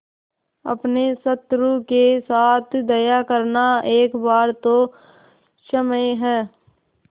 अपने शत्रु के साथ दया करना एक बार तो क्षम्य है